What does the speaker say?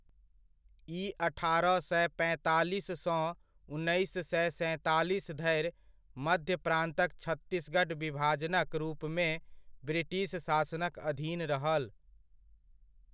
ई अठारह सए पैंतालीस सँ उन्नैस सए सैंतालीस धरि मध्य प्रान्तक छत्तीसगढ़ विभाजनक रूपमे ब्रिटिश शासनक अधीन रहल।